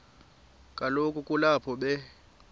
kaloku kulapho be